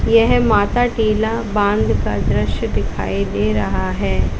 यह माताटीला बांध का दृश्य दिखाई दे रहा है।